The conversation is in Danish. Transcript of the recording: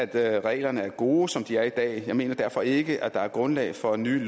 at reglerne er gode som de er i dag jeg mener derfor ikke at der er grundlag for nye